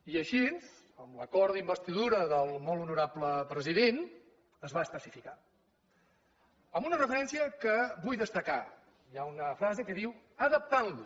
i així en l’acord d’investidura del molt honorable president es va especificar amb una referència que vull destacar hi ha una frase que diu adaptant lo